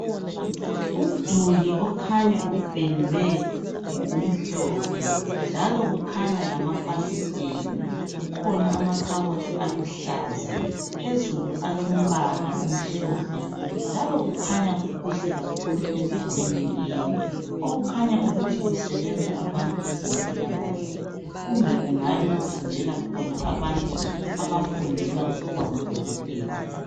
umduli okhanya upendwe ngokumhlophe njalo kukhanya lamafasiteli kukhona amakhabothi aluhlaza phezulu alombala omhlophe njalo kukhanya kukuhle kakhulu endaweni leyi okukhanya ukuthi kusebenza abantu bezempilakahle kumbe kungabe kufundela khona abantu bafundela ukuba ngo dokotela